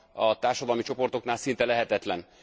a társadalmi csoportoknál szinte lehetetlen.